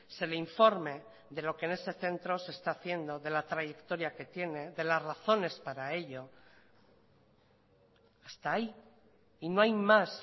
se le informe de lo que en ese centro se está haciendo de la trayectoria que tiene de las razones para ello hasta ahí y no hay más